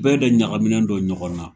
Bɛɛ da ɲagaminen don ɲɔgɔnna